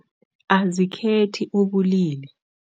Azikhethi ubulili.